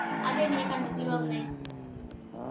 അതെങ്ങനെ കണ്ടതിൽ പാവുന്നെ